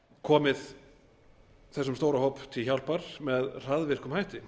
komið þessum stóra hópi til hjálpar með hraðvirkum hætti